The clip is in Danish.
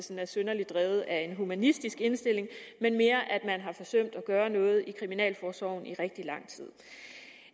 det er synderligt drevet af en humanistisk indstilling men mere af at man har forsømt at gøre noget i kriminalforsorgen i rigtig lang tid